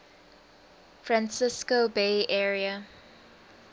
francisco bay area